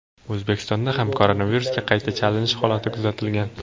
O‘zbekistonda ham koronavirusga qayta chalinish holati kuzatilgan.